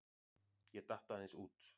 Ég datt aðeins út.